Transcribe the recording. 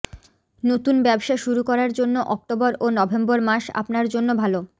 নতুন ব্যবসা শুরু করার জন্য অক্টোবর ও নভেম্বর মাস আপনার জন্য ভালো